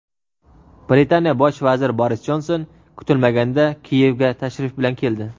Britaniya Bosh vaziri Boris Jonson kutilmaganda Kiyevga tashrif bilan keldi.